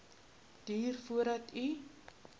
duur voordat u